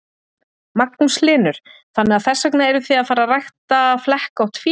Magnús Hlynur: Þannig að þess vegna eruð þið að fara rækta flekkótt fé?